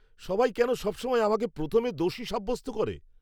সবাই কেন সবসময় আমাকে প্রথমে দোষী সাব্যস্ত করে?